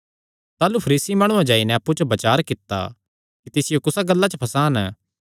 ताह़लू फरीसी माणुआं जाई नैं अप्पु च बचार कित्ता कि तिसियो कुणा गल्लां च फसान